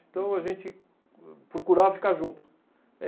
Então, a gente procurava ficar junto.